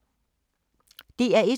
DR1